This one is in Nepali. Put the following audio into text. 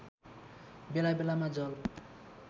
बेला बेलामा जल